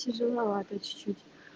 тяжеловато чуть-чуть